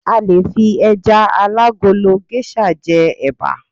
a le fi eja alagolo geisha je eba